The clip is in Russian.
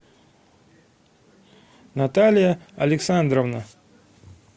наталья александровна